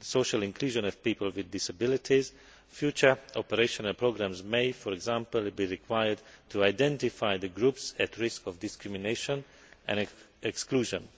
social inclusion of people with disabilities, future operational programmes may, for example, be required to identify the groups at risk of discrimination and exclusion.